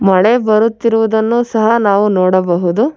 ಮಳೆ ಬರುತ್ತಿರುವುದನ್ನು ಸಹ ನಾವು ನೋಡಬಹುದು.